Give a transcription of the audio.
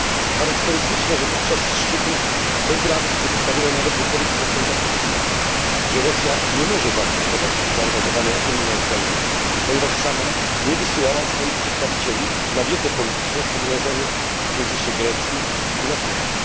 Charakterystyczne, że podczas szczytu bez reakcji pozostawiono nawet wypowiedź prezydenta Putina, że Rosja nie może zaakceptować zaangażowania Unii na Ukrainie, ponieważ sama nie wysyłała swoich przedstawicieli na wiece polityczne w pogrążonej w kryzysie Grecji i na Cyprze.